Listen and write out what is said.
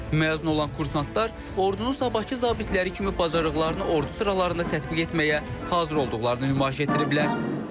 Məzun olan kursantlar ordunun sabahkı zabitləri kimi bacarıqlarını ordu sıralarında tətbiq etməyə hazır olduqlarını nümayiş etdiriblər.